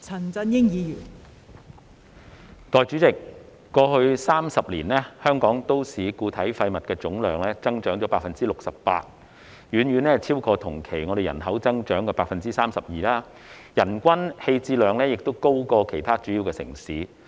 代理主席，過去30年，香港都市固體廢物總量增加 68%， 遠遠超過同期人口增長的 32%， 人均棄置量亦高於其他主要城市。